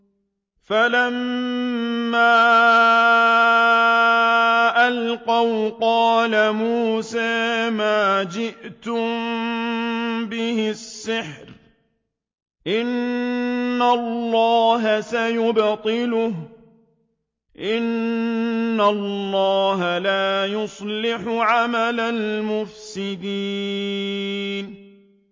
فَلَمَّا أَلْقَوْا قَالَ مُوسَىٰ مَا جِئْتُم بِهِ السِّحْرُ ۖ إِنَّ اللَّهَ سَيُبْطِلُهُ ۖ إِنَّ اللَّهَ لَا يُصْلِحُ عَمَلَ الْمُفْسِدِينَ